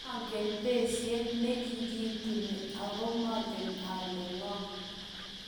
manget besiet ne kikituni, aku mangen ale ng'o